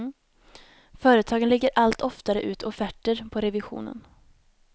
Företagen lägger allt oftare ut offerter på revisionen.